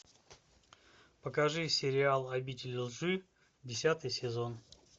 покажи сериал обитель лжи десятый сезон